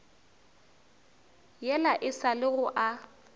yela e sa lego a